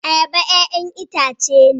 Ayaba 'ya'yan itace ne